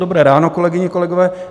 Dobré ráno, kolegyně, kolegové.